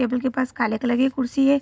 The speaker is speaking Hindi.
टेबल के पास काले कलर की कुर्सी है।